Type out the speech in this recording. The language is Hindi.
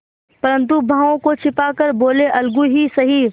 परंतु भावों को छिपा कर बोलेअलगू ही सही